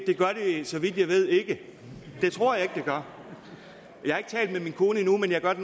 så vidt jeg ved ikke det tror jeg ikke gør jeg har ikke talt med min kone endnu men jeg gør det